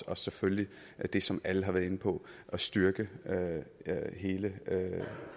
og selvfølgelig det som alle har været inde på at styrke hele